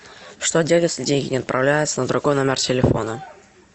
что делать если деньги не отправляются на другой номер телефона